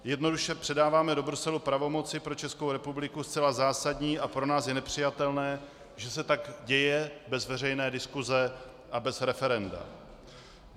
Jednoduše předáváme do Bruselu pravomoci pro Českou republiku zcela zásadní a pro nás je nepřijatelné, že se tak děje bez veřejné diskuse a bez referenda.